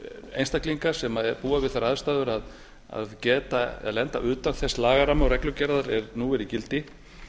einstaklinga sem búa við þær aðstæður að geta eða lenda utan þess lagaramma og reglugerðar er nú er í gildi